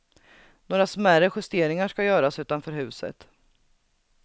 Några smärre justeringar ska göras utanför huset.